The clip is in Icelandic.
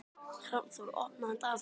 Hrafnþór, opnaðu dagatalið mitt.